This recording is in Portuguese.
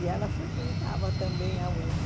E ela frequentava também a UNE.